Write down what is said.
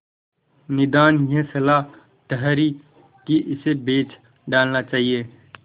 निदान यह सलाह ठहरी कि इसे बेच डालना चाहिए